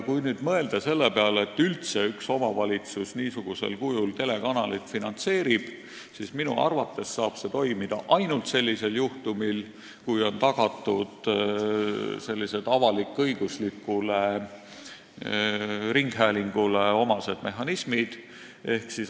Kui nüüd mõelda selle peale, et üldse üks omavalitsus niisugusel kujul telekanalit finantseerib, siis minu arvates saab see toimuda ainult sellisel juhtumil, kui on tagatud avalik-õiguslikule ringhäälingule omased mehhanismid.